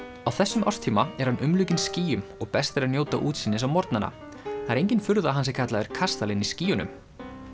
á þessum árstíma er hann umlukinn skýjum og best er að njóta útsýnis á morgnana það er engin furða að hann sé kallaður kastalinn í skýjunum